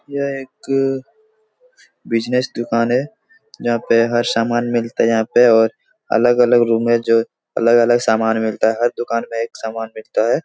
यह एक बिज़नेस दुकान है जहाँ पे हर सामान मिलता है। यहाँ पे और अलग-अलग रूम में जो अलग-अलग सामान मिलता है। हर दुकान में एक सामान मिलता है।